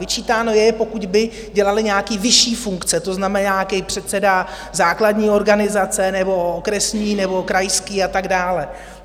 Vyčítáno je, pokud by dělali nějaké vyšší funkce, to znamená, nějaký předseda základní organizace nebo okresní nebo krajské a tak dále.